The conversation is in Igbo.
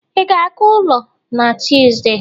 ị ga-aga ụlọ na Tọzdee?